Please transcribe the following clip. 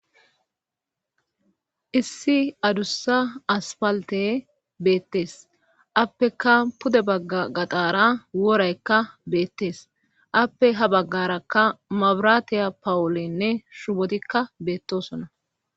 Issi adussa asfalttey beetees appekka pude agga gaxaara woraykka beettees appe ha baggaaarakka mabiraatiya pawleyyne shubottikka beettoosona.